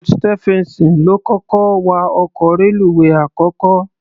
George Stephenson ló kọ́kọ́ wa ọkọ̀ reluwé àkọ́kọ́.